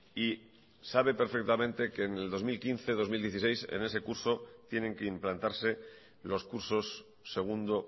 y sabe perfectamente que en el dos mil quince dos mil dieciséis en ese curso tienen que implantarse los cursos segundo